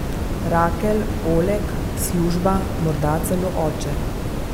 Rakel, Oleg, služba, morda celo oče.